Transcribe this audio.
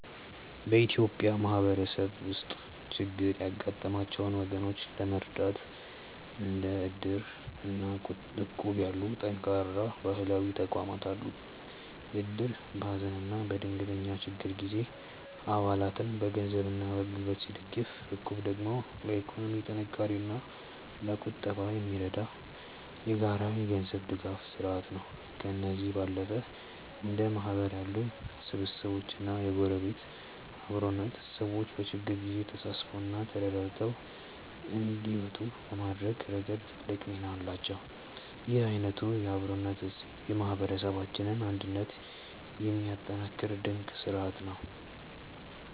በኢትዮጵያ ማህበረሰብ ውስጥ ችግር ያጋጠማቸውን ወገኖች ለመርዳት እንደ እድር እና እቁብ ያሉ ጠንካራ ባህላዊ ተቋማት አሉ። እድር በሀዘንና በድንገተኛ ችግር ጊዜ አባላትን በገንዘብና በጉልበት ሲደግፍ፣ እቁብ ደግሞ ለኢኮኖሚ ጥንካሬና ለቁጠባ የሚረዳ የጋራ የገንዘብ ድጋፍ ስርአት ነው። ከእነዚህም ባለፈ እንደ ማህበር ያሉ ስብስቦችና የጎረቤት አብሮነት፣ ሰዎች በችግር ጊዜ ተሳስበውና ተረዳድተው እንዲወጡ በማድረግ ረገድ ትልቅ ሚና አላቸው። ይህ አይነቱ የአብሮነት እሴት የማህበረሰባችንን አንድነት የሚያጠናክር ድንቅ ስርአት ነው።